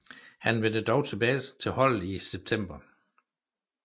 Han vendte dog tilbage til holdet i september